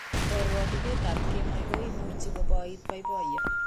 Karwotitoekap kemoi kuimuchei kuboit boiboiyo.